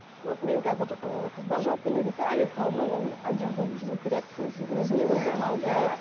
мен қазір ы қыздар жалпы негізі әйел қауымы ол әдемі болып жүру керек өзіне өзі ұнау керек